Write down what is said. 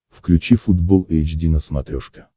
включи футбол эйч ди на смотрешке